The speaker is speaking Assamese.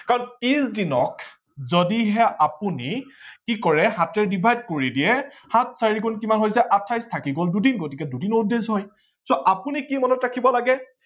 কাৰন ত্ৰিশ দিনক যদিহে আপোনি কি কৰে সাতেৰে divide কৰি দিয়ে সাত চাৰি গুন কিমান হৈ যায় আঠাইশ থাকি গল দুদিন গতিকে দুদিন odd days হয় so আপোনি কি মনত ৰাখিব লাগে